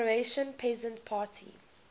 croatian peasant party